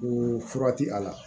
U fura ti a la